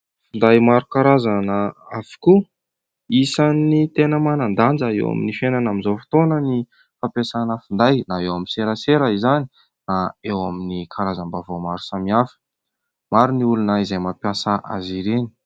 Finday maro karazana avokoa. Isan'ny tena manan-danja eo amin'ny fiainana amin'izao fotoana ny fampiasana finday na eo amin'ny serasera izany na eo amin'ny karazam-baovao maro samihafa. Maro ny olona izay mampiasa azy ireny.